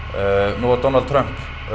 nú var Donald Trump